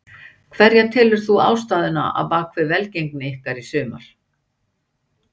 Hverja telur þú vera ástæðuna á bakvið velgengni ykkar í sumar?